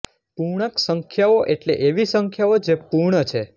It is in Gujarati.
પૂર્ણાંક સંખ્યાઓ એટલે એવી સંખ્યાઓ જે પૂર્ણ છે